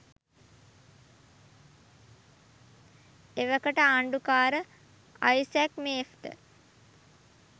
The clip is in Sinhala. එවකට ආණ්ඩුකාර අයිසැක් මේෆ්ට